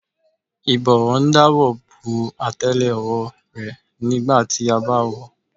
Ìbọ́wọ́ ń dáàbò bo àtélé-ọwọ́ rẹ nígbà tí a bá wọ̀ ọ́.